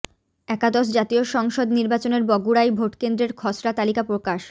একাদশ জাতীয় সংসদ নির্বাচনের বগুড়ায় ভোটকেন্দ্রের খসড়া তালিকা প্রকাশ